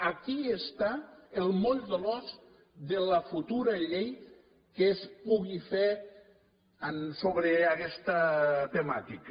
aquí està el moll de l’os de la futura llei que es pugui fer sobre aguesta temàtica